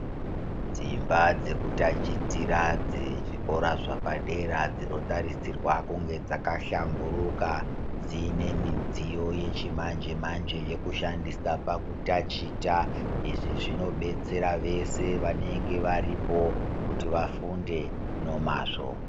Dzimba dzekutachitira dzezvikora zvepadera dzinotarisirwa kunge dzakahlamburuka. Dzine midziyo yechimanje-manje, yekushandisandisa pakutachita. Izvi zvinobetsera vese vanenge varipo kuti vafunde nomazvo.